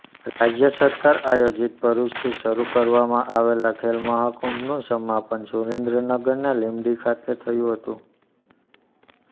રાજ્ય સરકાર આયોજીત ભરૂચથી શરૂ કરવામાં આવેલા ખેલ મહાકુંભનું સમાપન સુરેન્દ્રનગરના લીંબડી ખાતે થયું હતું